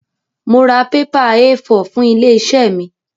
Mo ra pépà Éé 4 fún ilé-iṣẹ́ mi.